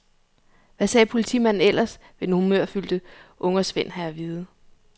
Hvad sagde politimanden ellers, vil den humørfyldte ungersvend have at vide.